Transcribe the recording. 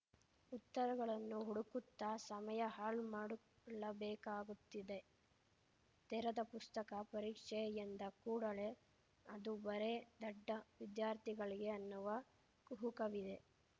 ಉತ್ತರಗಳನ್ನು ಹುಡುಕುತ್ತಾ ಸಮಯ ಹಾಳುಮಾಡುಕೊಳ್ಳಬೇಕಾಗುತ್ತಿದೆ ತೆರೆದ ಪುಸ್ತಕ ಪರೀಕ್ಷೆ ಎಂದ ಕೂಡಲೇ ಅದು ಬರೇ ದಡ್ಡ ವಿದ್ಯಾರ್ಥಿಗಳಿಗೆ ಅನ್ನುವ ಕುಹುಕವಿದೆ